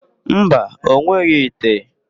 Mba, o nweghị ite.